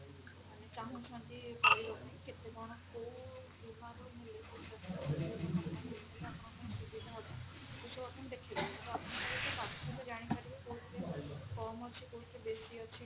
ମାନେ ଚାହୁଁଛନ୍ତି କରେଇବା ପାଇଁ କେତେ କଣ କୋଉ ବୀମାର ଆପଣଙ୍କ ପାଇଁ ସୁବିଧା ହବ ଏସବୁ ଦେଖେଇ ତ ଆପଣ ଜାଣିପାରିବେ କଉଥିରେ କମ ଅଛି କଉଥିରେ ବେଶି ଅଛି